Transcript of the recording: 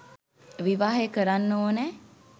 විවාහය කරන්න ඕනෑ?